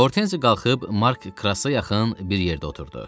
Hortenzi qalxıb Mark Krassa yaxın bir yerdə oturdu.